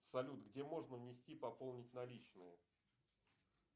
салют где можно внести пополнить наличные